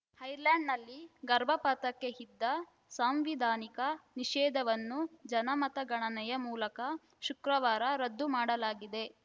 ಐರ್ಲೆಂಡ್‌ನಲ್ಲಿ ಗರ್ಭಪಾತಕ್ಕೆ ಇದ್ದ ಸಾಂವಿಧಾನಿಕ ನಿಷೇಧವನ್ನು ಜನಮತಗಣನೆಯ ಮೂಲಕ ಶುಕ್ರವಾರ ರದ್ದು ಮಾಡಲಾಗಿದೆ